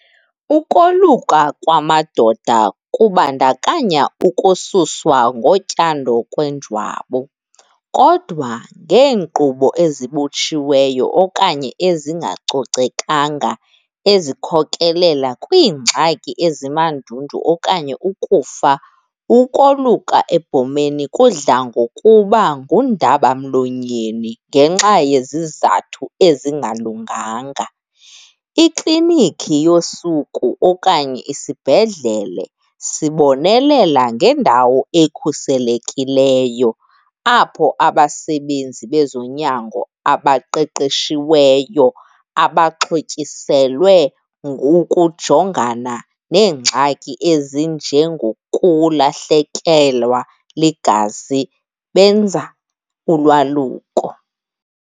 Ukoluka kwamadoda kubandakanya ukususwa ngotyando kwenjwabu kodwa ngeenkqubo ezibotshiweyo okanye ezingacocekanga ezikhokelela kwiingxaki ezimandundu okanye ukufa. Ukoluka ebhomeni kudla ngokuba ngundabamlonyeni ngenxa yezizathu ezingalunganga. Ikliniki yosuku okanye isibhedlele sibonelela ngendawo ekhuselekileyo, apho abasebenzi bezonyango abaqeqeshiweyo abaxhotyiselwe ngokujongana neengxaki ezinje ngokulahlekelwa ligazi, benza ulwaluko.